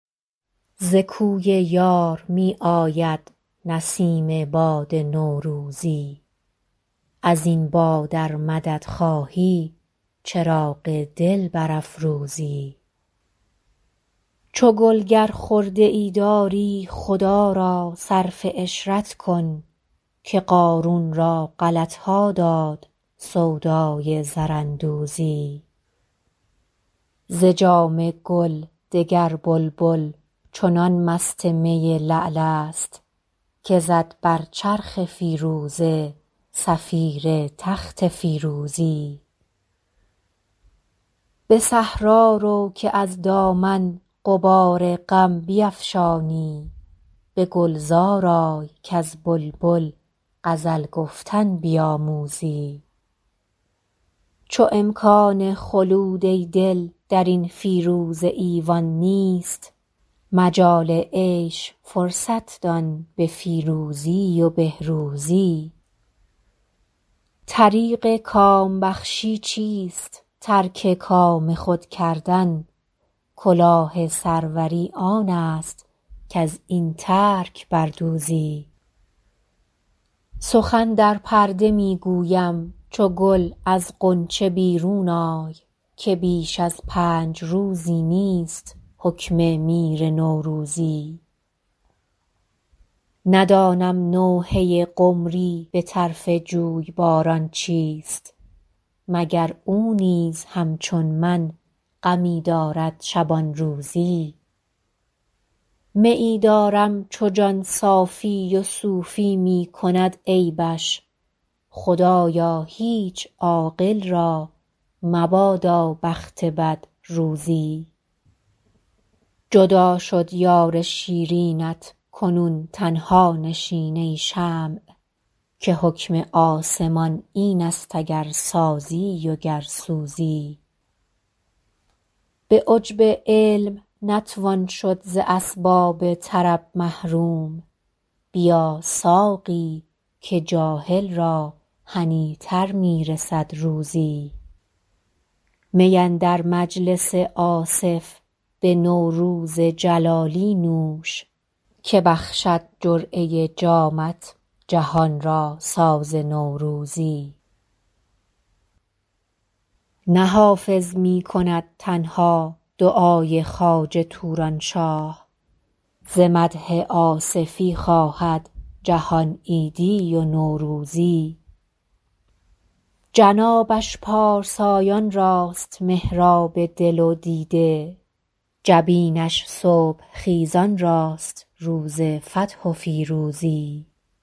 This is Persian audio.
ز کوی یار می آید نسیم باد نوروزی از این باد ار مدد خواهی چراغ دل برافروزی چو گل گر خرده ای داری خدا را صرف عشرت کن که قارون را غلط ها داد سودای زراندوزی ز جام گل دگر بلبل چنان مست می لعل است که زد بر چرخ فیروزه صفیر تخت فیروزی به صحرا رو که از دامن غبار غم بیفشانی به گلزار آی کز بلبل غزل گفتن بیاموزی چو امکان خلود ای دل در این فیروزه ایوان نیست مجال عیش فرصت دان به فیروزی و بهروزی طریق کام بخشی چیست ترک کام خود کردن کلاه سروری آن است کز این ترک بر دوزی سخن در پرده می گویم چو گل از غنچه بیرون آی که بیش از پنج روزی نیست حکم میر نوروزی ندانم نوحه قمری به طرف جویباران چیست مگر او نیز همچون من غمی دارد شبان روزی میی دارم چو جان صافی و صوفی می کند عیبش خدایا هیچ عاقل را مبادا بخت بد روزی جدا شد یار شیرینت کنون تنها نشین ای شمع که حکم آسمان این است اگر سازی و گر سوزی به عجب علم نتوان شد ز اسباب طرب محروم بیا ساقی که جاهل را هنی تر می رسد روزی می اندر مجلس آصف به نوروز جلالی نوش که بخشد جرعه جامت جهان را ساز نوروزی نه حافظ می کند تنها دعای خواجه توران شاه ز مدح آصفی خواهد جهان عیدی و نوروزی جنابش پارسایان راست محراب دل و دیده جبینش صبح خیزان راست روز فتح و فیروزی